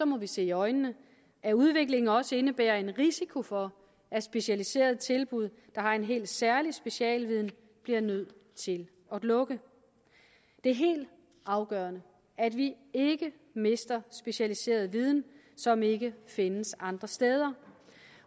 må vi se i øjnene at udviklingen også indebærer en risiko for at specialiserede tilbud der har en helt særlig specialviden bliver nødt til at lukke det er helt afgørende at vi ikke mister specialiseret viden som ikke findes andre steder